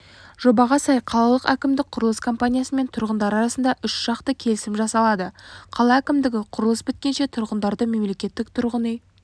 жобаға сай қалалық әкімдік құрылыс компаниясы мен тұрғындар арасында үш жақты келісім жасалады қала әкімдігі құрылыс біткенше тұрғындарды мемлекеттік тұрғын үй